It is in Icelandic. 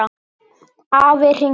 Afi hringir